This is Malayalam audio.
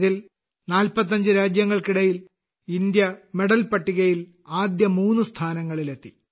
ഇതിൽ 45 രാജ്യങ്ങൾക്കിടയിൽ ഇന്ത്യ മെഡൽ പട്ടികയിൽ ആദ്യ മൂന്ന് സ്ഥാനങ്ങളിൽ എത്തി